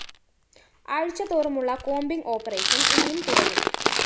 ്ആഴ്ച തോറുമുള്ള combing operation ഇനിയും തുടരും